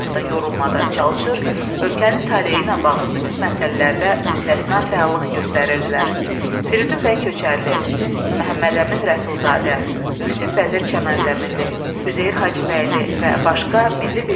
Firidun bəy Köçərli, Məhəmmədəmin Rəsulzadə, Yusif Vəzir Çəmənzəminli, Üzeyir Hacıbəyli və başqa milli birliyi və azadlığı təbliğ edən yazıları baş verən mürəkkəb ictimai-siyasi hadisələrin mahiyyətinin başa düşülməsində əhəmiyyətli rol oynayırdı.